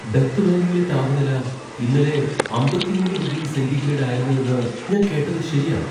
Death വാലിയിലെ താപനില ഇന്നലെ അമ്പത്തി മൂന്ന് ഡിഗ്രി സെൻ്റിഗ്രേഡ് ആയിരുന്നുവെന്ന് ഞാൻ കേട്ടത് ശരിയാണോ?